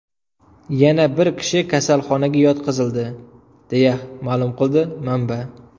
Yana bir kishi kasalxonaga yotqizildi”, deya ma’lum qildi manba.